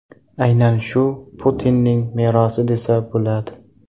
Aynan shu Putinning merosi desa bo‘ladi.